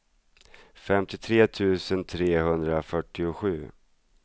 femtiotre tusen trehundrafyrtiosju